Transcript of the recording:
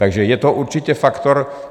Takže je to určitě faktor.